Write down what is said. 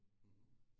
Mhm